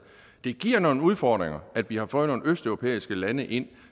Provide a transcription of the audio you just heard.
det giver nogle udfordringer at vi har fået nogle østeuropæiske lande ind